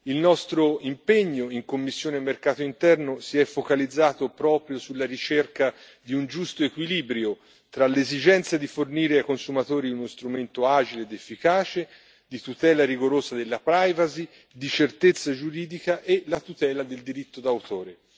Il nostro impegno in commissione mercato interno si è focalizzato proprio sulla ricerca di un giusto equilibrio tra l'esigenza di fornire ai consumatori uno strumento agile ed efficace, di tutela rigorosa della privacy, di certezza giuridica e la tutela del diritto d'autore.